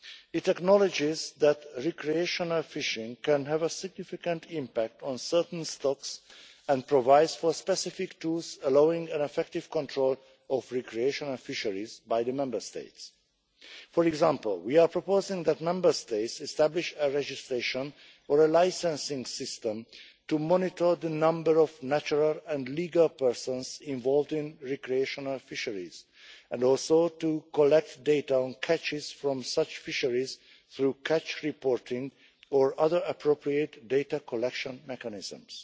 It acknowledges that recreational fishing can have a significant impact on certain stocks and provides for specific tools allowing an effective control of recreational fisheries by the Member States. For example, we are proposing that Member States establish a registration or licensing system to monitor the number of natural and legal persons involved in recreational fisheries and also to collect data on catches from such fisheries through catch reporting or other appropriate data collection mechanisms.